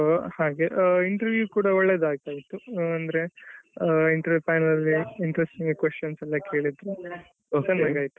ಹಾಗೆ interview ಕೂಡ ಒಳ್ಳೆದಿತ್ತು ಅಂದ್ರೆ interview final ಅಲ್ಲಿ interesting questions ಎಲ್ಲ ಕೇಳಿದ್ರು ಚೆನ್ನಾಗಾಯ್ತು.